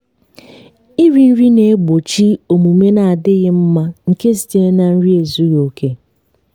nri ziri ezi na-egbochi omume n'adịghị mma nke sitere na nri ezughi oke.